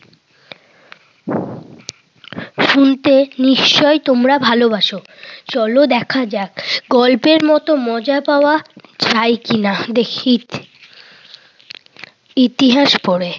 শুনতে নিশ্চয়ই তোমরা ভালোবাস? চল দেখা যাক, গল্পের মতো মজা পাওয়া যায় কিনা দেখি। ইতিহাস পড়ে,